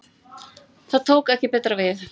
Þar tók ekki betra við.